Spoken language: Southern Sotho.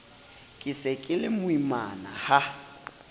ke se ke lemoimana ha